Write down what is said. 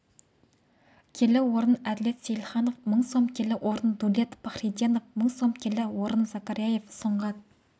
келі орын әділет сейілханов мың сом келі орын дулет пахриденов мың сом келі орын закарияев сұңғат